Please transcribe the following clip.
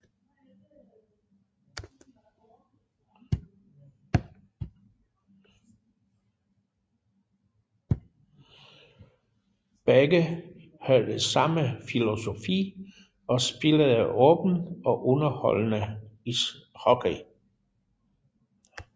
Begge havde samme filosofi og spillede åben og underholdende hockey